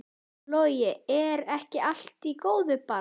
Logi: Er ekki allt í góðu bara?